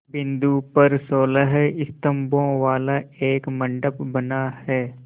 बिंदु पर सोलह स्तंभों वाला एक मंडप बना है